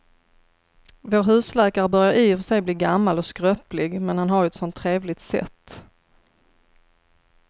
Vår husläkare börjar i och för sig bli gammal och skröplig, men han har ju ett sådant trevligt sätt!